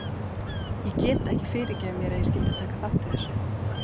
Ég get ekki fyrirgefið mér að ég skyldi taka þátt í þessu.